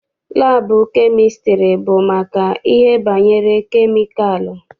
Laabụ kemịstrị bụ maka ihe banyere kemikalụ.